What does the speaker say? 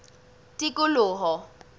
tikoloho